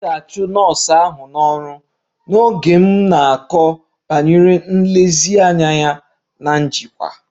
A ga-achụ nọọsụ ahụ n'ọrụ n'oge m na-akọ banyere nlezianya ya na njikwa